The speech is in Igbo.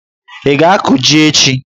ị ga-akụ jí echi?